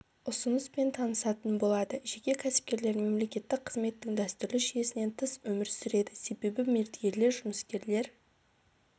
ұсыныспен танысатын болады жеке кәсіпкерлер мемлекеттік қызметтің дәстүрлі жүйесінен тыс өмір сүреді себебі мердігерлер жұмыскерлер